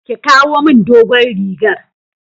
Ki kawo min dogon rigar.